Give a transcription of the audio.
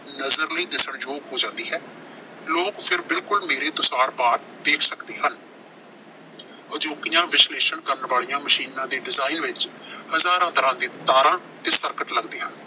ਨਜ਼ਰ ਲਈ ਦਿਸਣਯੋਗ ਹੋ ਜਾਂਦੀ ਹੈ। ਲੋਕ ਫਿਰ ਬਿਲਕੁਲ ਮੇਰੇ ਤੋਂ ਆਰ-ਪਾਰ ਦੇਖ ਸਕਦੇ ਹਨ। ਅਜੋਕੀਆਂ ਵਿਸ਼ਲੇਸ਼ਣ ਕਰਨ ਵਾਲੀਆਂ ਮਸ਼ੀਨਾਂ ਦੇ ਡਿਜਾਇਨ ਵਿੱਚ ਹਜ਼ਾਰਾਂ ਤਰ੍ਹਾਂ ਦੇ ਤਾਰਾਂ ਤੇ ਸਰਕਟ ਲੱਗਦੇ ਹਨ।